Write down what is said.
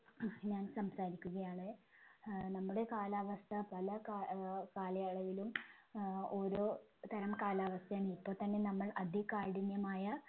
ഞാൻ സംസാരിക്കുകയാണ് ഏർ നമ്മുടെ കാലാവസ്ഥ പല കാ ഏർ കാലയളവിലും ഏർ ഓരോ തരം കാലാവസ്ഥയാണ് ഇപ്പോത്തന്നെ നമ്മൾ അതികാഠിന്യമായ